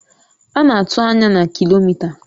A na-atụ anya na kilomita